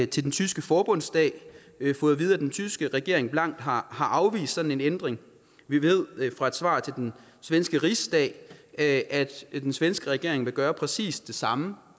til den tyske forbundsdag fået at vide at den tyske regering blankt har afvist sådan en ændring vi ved fra et svar til den svenske rigsdag at at den svenske regering vil gøre præcis det samme